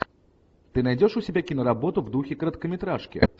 ты найдешь у себя киноработу в духе короткометражки